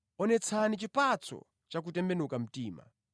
Onetsani chipatso cha kutembenuka mtima.